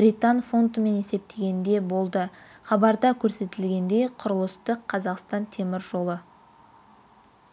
британ фунтымен есептегенде болды хабарда көрсетілгендей құрылысты қазақстан темір жолы